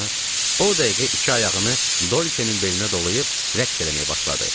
O dəqiqə iki ayağını Dolçenin belinə dolayıb rəqs eləməyə başladı.